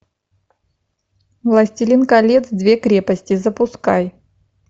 властелин колец две крепости запускай